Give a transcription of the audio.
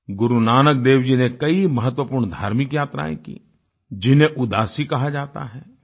गुरुनानक देव जी ने कई महत्वपूर्ण धार्मिक यात्राएँ की जिन्हें उदासी कहा जाता है